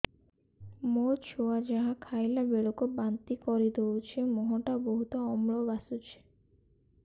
ମୋ ଛୁଆ ଯାହା ଖାଇଲା ବେଳକୁ ବାନ୍ତି କରିଦଉଛି ମୁହଁ ଟା ବହୁତ ଅମ୍ଳ ବାସୁଛି